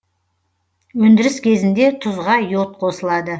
өндіріс кезінде тұзға йод қосылады